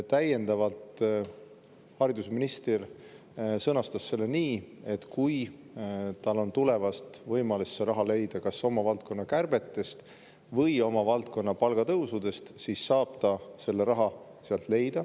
Täiendavalt sõnastas haridusminister selle nii, et kui tal on võimalus see raha leida kas oma valdkonna kärbete abil või oma valdkonna palgatõusude, siis saab ta selle raha sealt leida.